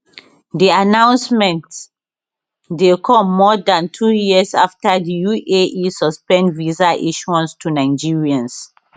di announcement dey come more dan two years afta di uae suspend visa issuance to nigerians